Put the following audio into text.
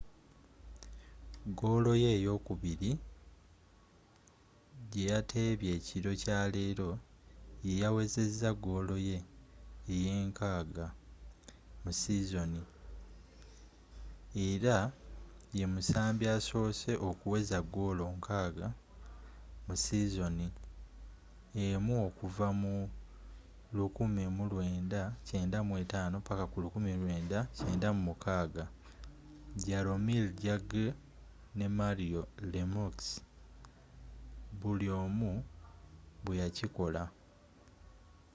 goolo ye ey'okubiri gye yateebye ekiro kya leero yeyawezezza goolo ye 60 mu sizoni era ye musambi asoose okuweza goolo 60 mu sizoni emu okuva mu 1995-1996 jaromir jagr nne mario lemieux buli omu bwe yakikola